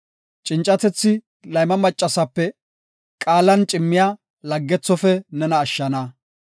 Cincatethi layma maccasape, qaalan cimmiya laggethofe nena ashshana.